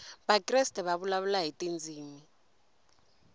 vakreste va vulavula hi tindzimi